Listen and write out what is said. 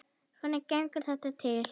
Svona gengur þetta til.